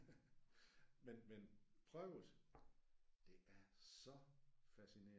Men men prøv det. Det er så fascinerende